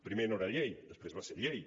primer no era llei després va ser llei